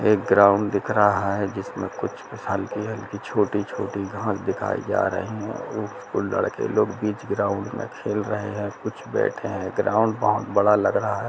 एक ग्राउंड दिख रहा है जिसमे कुछ हलकी हलकी छोटी छोटी घास दिखाई जा रही है लड़के लोग बिच ग्राउंड में खेल रहे है कुछ बैठे है ग्राउंड बोहोत बड़ा लग रहा है।